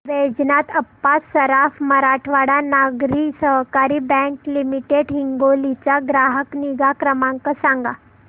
Vaijnath Appa Saraf Marathwada Nagari Sahakari bank limited Hingoli चा ग्राहक निगा क्रमांक सांगा